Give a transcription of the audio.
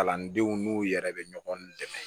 Kalandenw n'u yɛrɛ bɛ ɲɔgɔn dɛmɛ